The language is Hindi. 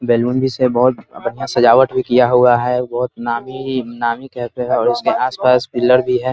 बैलून भी से बहोत बढ़िया सजावट भी किया हुआ है बहोत नामी नामी कहते हैं इसके आस-पासपिलर भी है ।